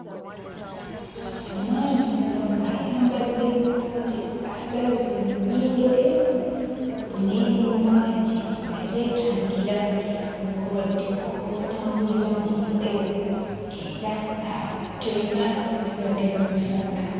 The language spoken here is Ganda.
Omwami ono ayambadde bulungi, asabise ennyindo ye n'emimwa gye nga yeetangira obulwadde obutambulira mu mpewo era awo toyina bulwadde bw'omusanga.